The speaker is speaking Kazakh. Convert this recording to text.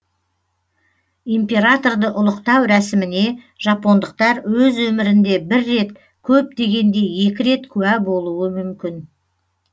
императорды ұлықтау рәсіміне жапондықтар өз өмірінде бір рет көп дегенде екі рет куә болуы мүмкін